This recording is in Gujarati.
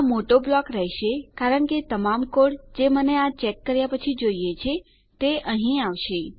આ મોટો બ્લોક રહેશે કારણ કે તમામ કોડ જે મને આ ચેક કર્યા પછી જોઈએ છે તે અહીં આવશે